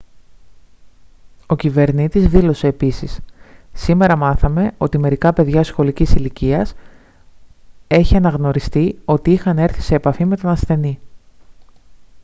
ο κυβερνήτης δήλωσε επίσης «σήμερα μάθαμε ότι μερικά παιδιά σχολικής ηλικίας έχει αναγνωριστεί ότι είχαν έρθει σε επαφή με τον ασθενή»